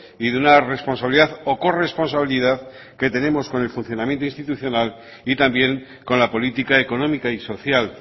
y de una responsabilidad o corresponsabilidad que tenemos con el funcionamiento institucional y también con la política económica y social